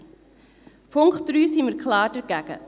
Beim Punkt 3 sind wir klar dagegen.